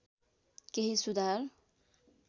केही सुधार